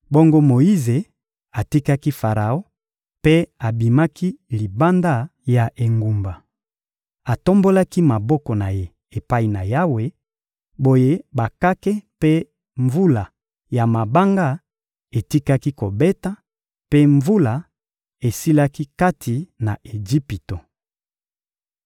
Bongo Moyize atikaki Faraon mpe abimaki libanda ya engumba. Atombolaki maboko na ye epai na Yawe; boye bakake mpe mvula ya mabanga etikaki kobeta, mpe mvula esilaki kati na Ejipito.